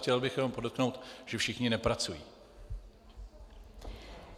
Chtěl bych jenom podotknout, že všichni nepracují.